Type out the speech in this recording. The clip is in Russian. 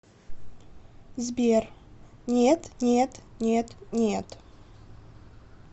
сбер нет нет нет нет